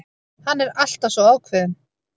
Hann er alltaf svo ákveðinn.